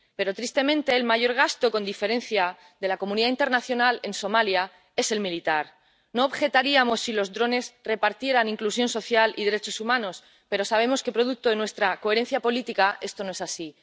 Pero, tristemente, el mayor gasto, con diferencia, de la comunidad internacional en Somalia es el militar. No objetaríamos si los drones repartieran inclusión social y derechos humanos, pero sabemos que, producto de nuestra coherencia política, esto no es así.